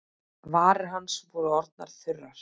Varir hans voru orðnar þurrar.